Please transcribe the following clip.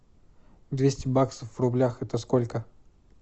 двести баксов в рублях это сколько